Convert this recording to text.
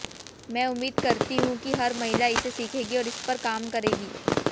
मैं उम्मीद करती हूं कि हर महिला इसे सीखेगी और इस पर काम करेगी